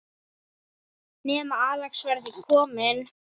Nema Axel verði kominn.